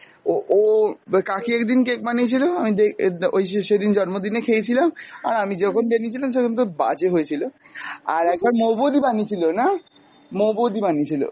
ও ও ব~ কাকি একদিন cake বানিয়েছিল আমি দে~ ওই সেই সেদিন জন্মদিনে খেয়েছিলাম, আর আমি যখন বানিয়েছিলাম সখন তোর বাজে হয়েছিল, আর একবার মৌ বৌদি বানিয়েছিল না! মৌ বৌদি বানিয়েছিল।